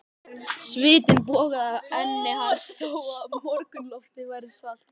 Svitinn bogaði af enni hans þó að morgunloftið væri svalt.